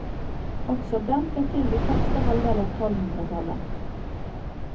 Også den ble til i første halvdel av tolvhundretallet.